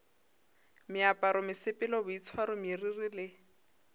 meaparo mesepelo boitshwaro meriri le